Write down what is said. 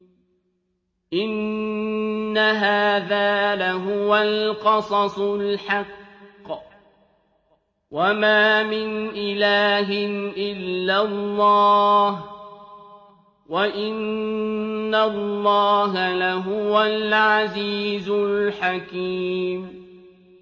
إِنَّ هَٰذَا لَهُوَ الْقَصَصُ الْحَقُّ ۚ وَمَا مِنْ إِلَٰهٍ إِلَّا اللَّهُ ۚ وَإِنَّ اللَّهَ لَهُوَ الْعَزِيزُ الْحَكِيمُ